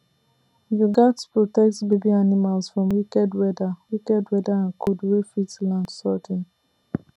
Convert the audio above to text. you gats protect baby animals from um wicked weather um wicked weather and cold wey fit land um sudden